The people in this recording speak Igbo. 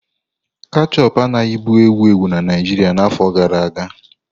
Ketchup a-na bụ ewu ewu na Naijiria na afọ gara aga.